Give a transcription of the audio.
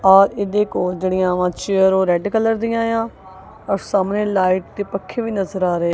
ਔਰ ਇਹਦੇ ਕੋਲ ਜਿਹੜੀਆਂ ਵਾਂ ਚੇਅਰ ਓਹ ਰੈੱਡ ਕਲਰ ਦਿਆਂ ਵਾਂ ਔਰ ਸਾਹਮਣੇ ਲਾਈਟ ਤੇ ਪੱਖੇ ਵੀ ਨਜ਼ਰ ਆ ਰਹੇ --